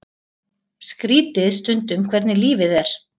Skrýtið stundum hvernig lífið er.